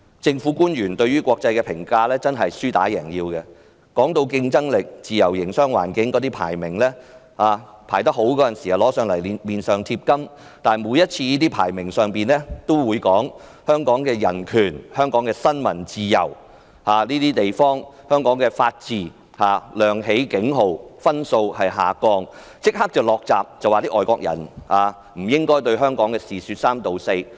政府官員對於國際對香港的評價是"輸打贏要"，當香港的競爭力和自由營商環境的排名高時，便拿出來往自己臉上貼金，但當國際社會談及香港的人權、新聞自由和法治亮起警號，分數下降時，政府便立即"落閘"，說外國人不應對香港的事說三道四。